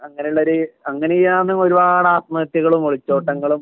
അങ്ങനെയുള്ള ഒരു അങ്ങനെയാണ് ഒരുപാട് ആത്മഹത്യകളും ഒളിച്ചോട്ടങ്ങളും